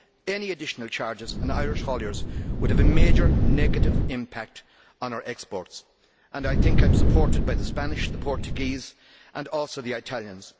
Any additional charges on Irish hauliers would have a major negative impact on our exports. I think I am supported by the Spanish, the Portuguese and also the Italians.